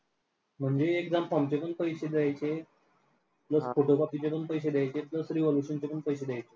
म्हणजे exam form चे पण पैसे द्यायचे plus photocopy चे पण पैसे द्यायचे revelation चे पण पैसे द्यायचे.